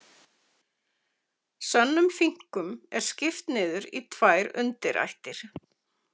Sönnum finkum er skipt niður í tvær undirættir.